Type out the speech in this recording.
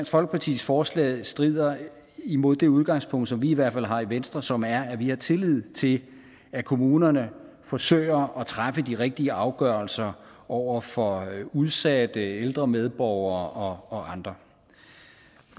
folkepartis forslag strider imod det udgangspunkt som vi i hvert fald har i venstre som er at vi har tillid til at kommunerne forsøger at træffe de rigtige afgørelser over for udsatte ældre medborgere og andre